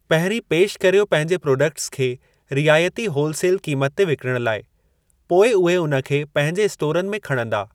पहिरीं पेश कर्यो पंहिंजे प्रोडक्ट्स खे रिआयती होल सेल क़ीमत ते विकिणण लाइ, पोइ उहे उन्हनि खे पंहिंजे स्टोरनि में खणंदा।